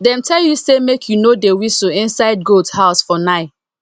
dem tell you say make you no dey whistle inside goat house for nigh